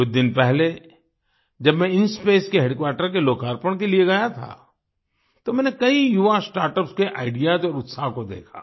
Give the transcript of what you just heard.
कुछ दिन पहले जब मैं इंस्पेस के हेडक्वार्टर के लोकार्पण के लिए गया था तो मैंने कई युवा स्टार्टअप्स के आईडीईएएस और उत्साह को देखा